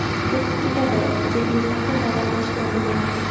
O‘tib ketadi, deb mustaqil davolanishga urinmang!